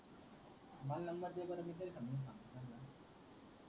मंग नंबर दे बर मी तरी समजूवन सांगतो त्यांना